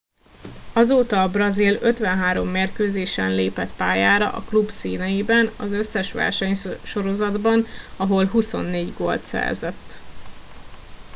azóta a brazil 53 mérkőzésen lépett pályára a klub színeiben az összes versenysorozatban ahol 24 gólt szerzett